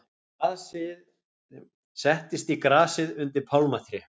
Settist í grasið undir pálmatré.